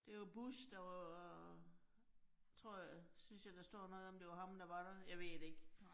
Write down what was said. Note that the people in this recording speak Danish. Det var Bush, der var tror jeg, synes jeg der står noget om, det var ham, der var der. Jeg ved det ikke